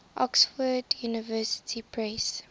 oxford university press